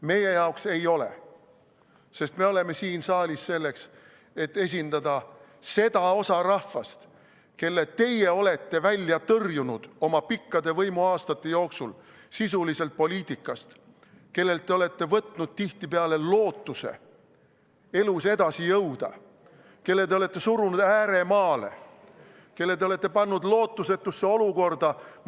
Meie jaoks ei ole, sest meie oleme siin saalis selleks, et esindada seda osa rahvast, kelle teie olete oma pikkade võimuaastate jooksul sisuliselt poliitikast välja tõrjunud, kellelt te olete võtnud tihtipeale lootuse elus edasi jõuda, kelle te olete surunud ääremaale ja kelle te olete pannud lootusetusse olukorda.